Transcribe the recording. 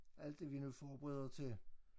Alt det vi nu forbereder til